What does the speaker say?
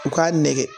U k'a nɛgɛ